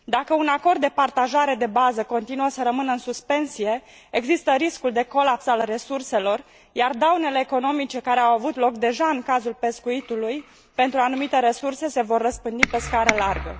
Dacă un acord de partajare de bază continuă să rămână în suspensie, există riscul de colaps al resurselor, iar daunele economice, care au avut loc deja în cazul pescuitului pentru anumite resurse, se vor răspândi pe scară largă.